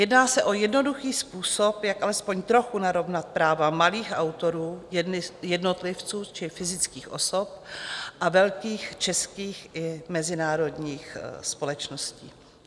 Jedná se o jednoduchý způsob, jak alespoň trochu narovnat práva malých autorů, jednotlivců či fyzických osob a velkých českých i mezinárodních společností.